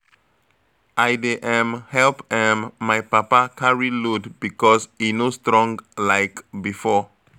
I dey um help um my papa carry load because e no strong like before.